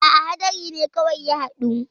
A'a haɗari kawai ne ya haɗu.